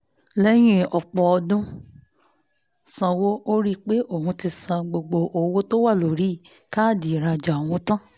lẹ́yìn ọ̀pọ̀ ọdún sanwó ó rí pé òun ti san gbogbo owó tó wà lórí káàdì ìrajà òun tán